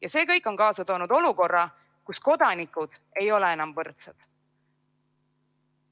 Ja see kõik on kaasa toonud olukorra, kus kodanikud ei ole enam võrdsed.